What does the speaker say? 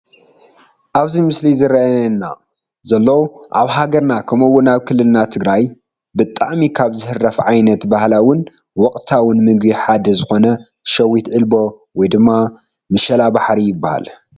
ኣብዚ ምስሊ ዝረአ ዘሎ ኣብ ሃገርና ከምኡውን ኣብ ክልልና ትግራይ ብጣዕሚ ካብ ዝህረፍ ዓይነት ባህላውን ወቕታውን ምግቢ ሓደ ዝኾነ ሸዊት ዒልቦ ወይ ድማ ምሻሓሪ ይባሃል፡፡